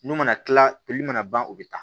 N'u mana kila poli u bɛ taa